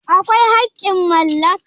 akwai haƙƙin mallaka?